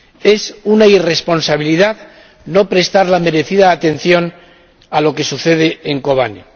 Es una irresponsabilidad no prestar la merecida atención a lo que sucede en Kobane.